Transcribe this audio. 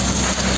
Burda burda.